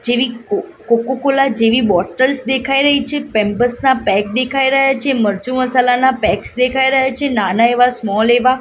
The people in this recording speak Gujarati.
જીરીક કો કોકો કોલા જેવી બોટલ્સ દેખાય રહી છે પેમ્પર્સ ના પેક દેખાય રહ્યા છે મરચુ મસાલાના પેક્સ દેખાય રહ્યા છે નાના એવા સ્મોલ એવા.